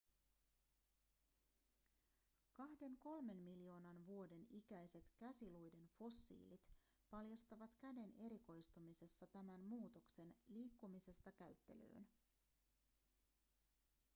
kahden-kolmen miljoonan vuoden ikäiset käsiluiden fossiilit paljastavat käden erikoistumisessa tämän muutoksen liikkumisesta käyttelyyn